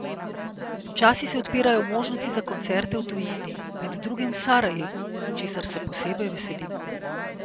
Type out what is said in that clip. Počasi se odpirajo možnosti za koncerte v tujini, med drugim v Sarajevu, česar se posebej veselimo.